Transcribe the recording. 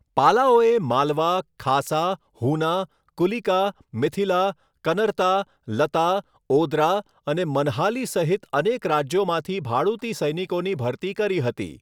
પાલાઓએ માલવા, ખાસા, હુના, કુલિકા, મિથિલા, કનરતા, લતા, ઓદ્રા અને મનહાલી સહિત અનેક રાજ્યોમાંથી ભાડૂતી સૈનિકોની ભરતી કરી હતી.